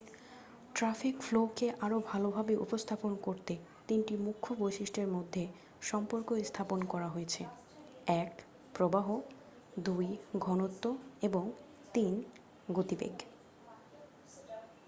Traffic ফ্লো-কে আরও ভালভাবে উপস্থাপন করতে তিনটি মুখ্য বৈশিষ্ট্যের মধ্যে সম্পর্ক স্থাপন করা হয়েছে: 1 প্রবাহ 2 ঘনত্ব এবং 3 গতিবেগ।